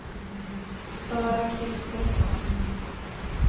Sara Christensson